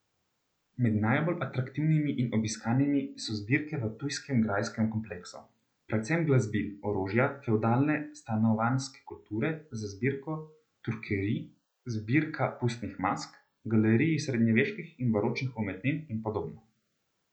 Med najbolj atraktivnimi in obiskanimi so zbirke v ptujskem grajskem kompleksu, predvsem glasbil, orožja, fevdalne stanovanjske kulture z zbirko turkerij, zbirka pustnih mask, galeriji srednjeveških in baročnih umetnin in podobno.